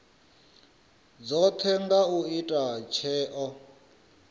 dzothe na u ita tsheo